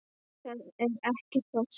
Það er ekkert of seint.